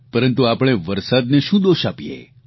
પરંતુ આપણે વરસાદને શું દોષ આપીએ